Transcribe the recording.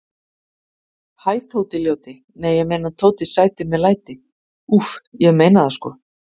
Hæ Tóti ljóti, nei ég meina Tóti sæti með læti, Úff, ég meina það sko.